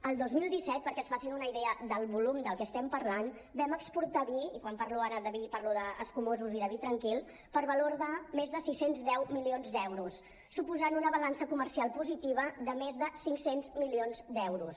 el dos mil disset perquè es facin una idea del volum del que estem parlant vam exportar vi i quan parlo ara de vi parlo d’escumosos i de vi tranquil per valor de més sis cents i deu milions d’euros suposant una balança comercial positiva de més de cinc cents milions d’euros